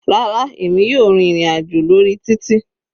Rárá, èmi yóò rìn ìrin àjò lórí títì.